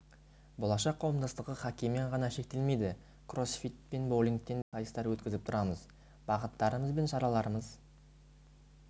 болашақ қауымдастығы хоккеймен ғана шектелмейді кроссфит пен боулингтен де сайыстар өткізіп тұрамыз бағыттарымыз бен шараларымыз